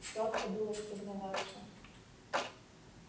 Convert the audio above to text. сладко было спознаваться